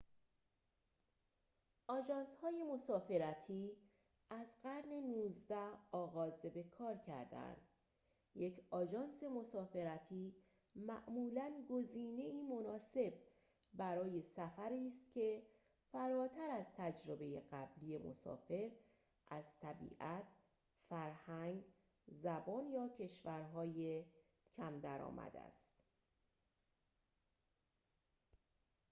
آژانس‌های مسافرتی از قرن ۱۹ آغاز به‌کار کرده‌اند یک آژانس مسافرتی معمولاً گزینه‌ای مناسب برای سفری است که فراتر از تجربه قبلی مسافر از طبیعت فرهنگ زبان یا کشورهای کم درآمد است